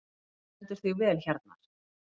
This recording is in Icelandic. Þú stendur þig vel, Hjarnar!